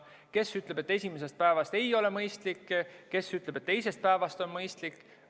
Kes ütleb, et esimesest päevast ei ole mõistlik, kes ütleb, et teisest päevast on mõistlik.